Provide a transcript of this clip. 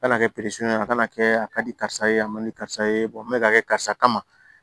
A kana kɛ ye a kana kɛ a ka di karisa ye a ma di karisa ye n bɛ ka kɛ karisa kama